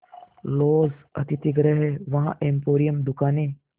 laws अतिथिगृह हैं वहाँ एम्पोरियम दुकानें